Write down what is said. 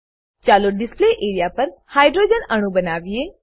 ચાલો display area પર hydrogen અણુ બનાવીએ